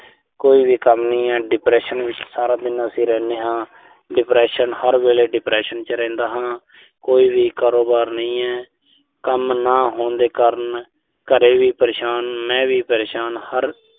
ਕੋਈ ਵੀ ਕੰਮ ਨਹੀਂ ਐ। depression ਵਿੱਚ ਸਾਰਾ ਦਿਨ ਅਸੀਂ ਰਹਿਨੇ ਹਾਂ। depression ਹਰ ਵੇਲੇ depression ਚ ਰਹਿੰਦਾ ਹਾਂ। ਕੋਈ ਵੀ ਕਾਰੋਬਾਰ ਨਹੀਂ ਐ। ਕੰਮ ਨਾ ਹੋਣ ਦੇ ਕਾਰਨ ਘਰੇ ਵੀ ਪਰੇਸ਼ਾਨ, ਮੈਂ ਵੀ ਪਰੇਸ਼ਾਨ ਹਰ